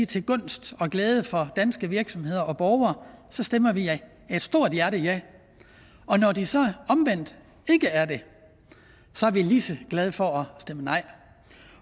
til gunst og glæde for danske virksomheder og borgere stemmer vi af et stort hjerte ja og når de så omvendt ikke er det er vi lige så glade for at stemme nej